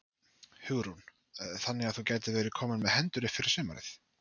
Hugrún: Þannig að þú gætir verið kominn með hendur fyrir sumarið?